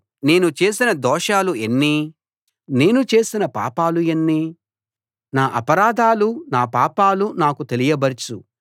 నేను చేసిన దోషాలు ఎన్ని నేను చేసిన పాపాలు ఎన్ని నా అపరాధాలు నా పాపాలు నాకు తెలియబరచు